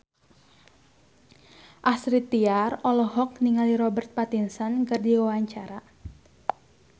Astrid Tiar olohok ningali Robert Pattinson keur diwawancara